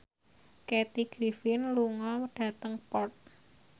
Kathy Griffin lunga dhateng Perth